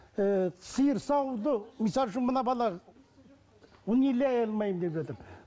ііі сиыр саууды мысалы үшін мына бала ұн илей алмаймын деп жатыр